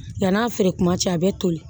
Yann'a feere kuma cɛ a bɛ toli